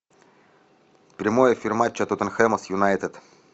прямой эфир матча тоттенхэма с юнайтед